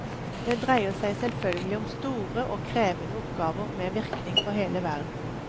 Det dreier seg selvfølgelig om store og krevende oppgaver med virkning for hele verden.